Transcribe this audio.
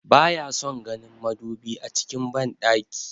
Ba ya son ganin madubi a cikin banɗaki